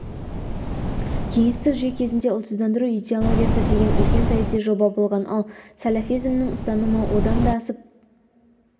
кеңестік жүйе кезінде ұлтсыздандыру идеологиясы деген үлкен саяси жоба болған ал сәләфизмнің ұстанымы одан да асып